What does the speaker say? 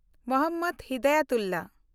Mohammad Hidayatullah